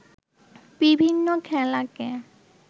বিভিন্ন খেলাকে